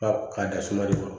Ba k'a da suma de kɔrɔ